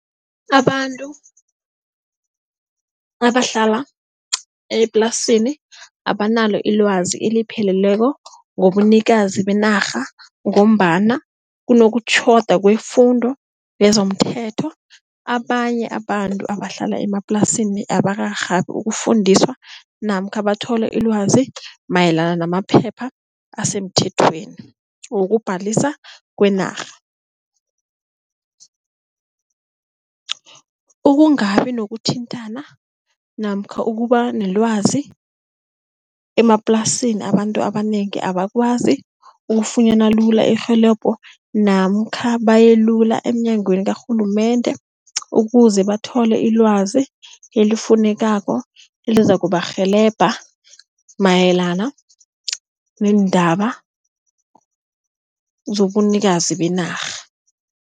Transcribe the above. Abantu abahlala eplasini abanalo ilwazi elipheleleko ngobunikazi benarha ngombana kunokutjhoda kwemfundo yezomthetho, abanye abantu abahlala emaplasini abakarhabi ukufundiswa namkha bathole ilwazi mayelana namaphepha asemuthethweni wokubhalisa kweenarha. Ukungabi nokuthintana namkha ukuba nelwazi emaplasini abantu abanengi abakwazi ukufunyana lula irhelebho namkha baye lula emnyangweni karhulumende ukuze bathole ilwazi, elifunekako elizakubarhelebha mayelana neendaba zobunikazi benarha.